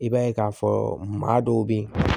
I b'a ye k'a fɔ maa dɔw be yen